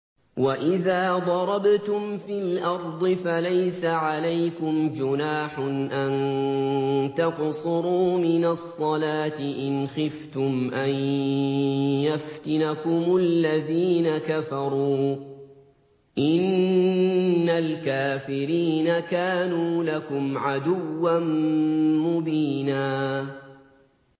وَإِذَا ضَرَبْتُمْ فِي الْأَرْضِ فَلَيْسَ عَلَيْكُمْ جُنَاحٌ أَن تَقْصُرُوا مِنَ الصَّلَاةِ إِنْ خِفْتُمْ أَن يَفْتِنَكُمُ الَّذِينَ كَفَرُوا ۚ إِنَّ الْكَافِرِينَ كَانُوا لَكُمْ عَدُوًّا مُّبِينًا